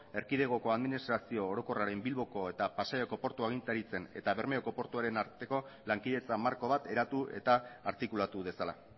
erkidegoko administrazio orokorraren bilboko eta pasaiako portu agintaritzen eta bermeoko portuaren arteko lankidetza marko bat eratu eta artikulatu dezala